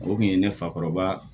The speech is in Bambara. O kun ye ne fakɔrɔba